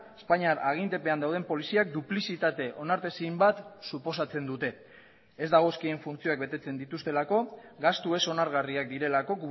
espainiar agintepean dauden poliziak duplizitate onartezin bat suposatzen dute ez dagozkien funtzioak betetzen dituztelako gastu ez onargarriak direlako